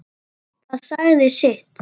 Það sagði sitt.